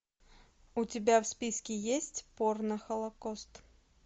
у тебя в списке есть порно холокост